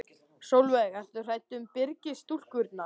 Sólveig: Ertu hrædd um Byrgis-stúlkurnar?